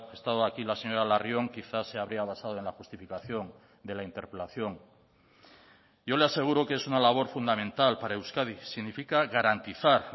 estado aquí la señora larrión quizá se habría basado en la justificación de la interpelación yo le aseguro que es una labor fundamental para euskadi significa garantizar